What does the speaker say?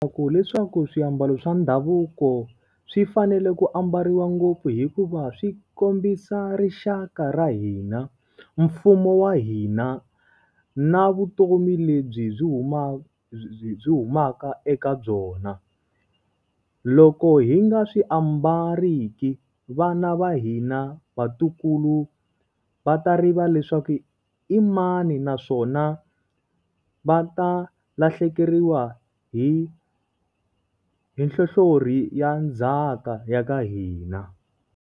leswaku swiambalo swa ndhavuko swi fanele ku ambariwa ngopfu hikuva swi kombisa rixaka ra hina, mfumo wa hina, na vutomi lebyi byi byi humaka eka byona. Loko hi nga swi ambariki, vana va hina, vatukulu va ta rivala leswaku i mani naswona va ta lahlekeriwa hi hi nhlohlori ya ndzhaka ya ka hina.